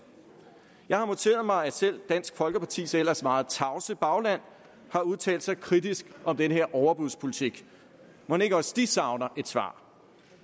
jeg har noteret mig at selv dansk folkepartis ellers meget tavse bagland har udtalt sig kritisk om den her overbudspolitik mon ikke også de savner et svar